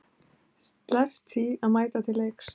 Sleppt því að mæta til leiks?